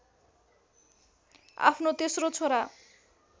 आफ्नो तेश्रो छोरा